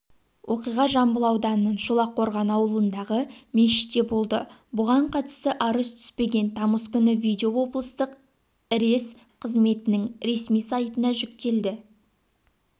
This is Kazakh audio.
оқиға жамбыл ауданының шолаққорған ауылындағы мешітте болды бұған қатысты арыз түспеген тамыз күні видео облыстық іресс-қызметінің ресми сайтына жүктелді